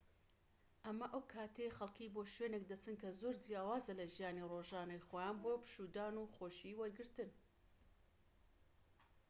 ئەمە ئەو کاتەیە خەڵکی بۆ شوێنێک دەچن کە زۆر جیاوازە لە ژیانی ڕۆژانەی خۆیان بۆ پشوودان و خۆشی وەرگرتن